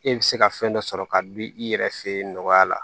E bɛ se ka fɛn dɔ sɔrɔ ka dun i yɛrɛ fɛ yen nɔgɔya la